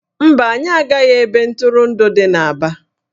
Mba, anyị agaghị ebe ntụrụndụ dị n'Aba